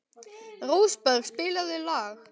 Rósberg, spilaðu lag.